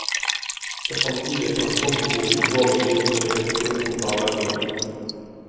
Det fremtidige transportbehovet i vår region ligger til grunn for planleggingen.